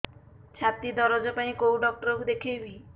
ଛାତି ଦରଜ ପାଇଁ କୋଉ ଡକ୍ଟର କୁ ଦେଖେଇବି